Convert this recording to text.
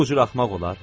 Bu cür axmaq olar?